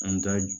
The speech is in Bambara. An bɛ taa